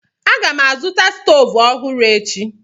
Aga m azụta stovu ọhụrụ echi.